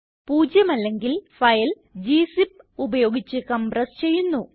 പൂജ്യമല്ലെങ്കിൽ file gzip ഉപയോഗിച്ച് compress ചെയ്യുന്നു